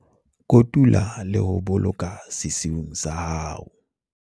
Kotula le ho boloka sesiung sa hao